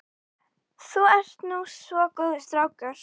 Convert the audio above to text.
Þú ert nú svo góður strákur.